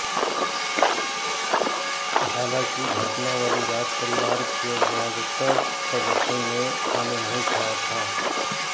हालांकि घटना वाली रात परिवार के ज्यादातर सदस्यों ने खाना नहीं खाया था